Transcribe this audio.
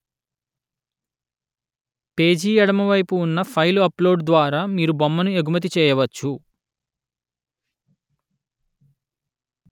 page ఎడమ వైపు ఉన్న ఫైలు అప్లోడు ద్వారా మీరు బొమ్మను ఎగుమతి చేయవచ్చు